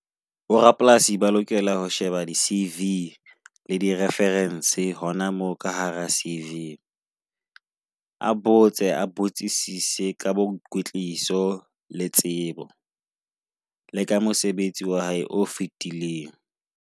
Bo rapolasi ba lokela ho sheba di cv le di reference hona moo ka hara cv. A botse, a botsisise ka boikwetliso le tsebo le ka mosebetsi wa hae o fetileng.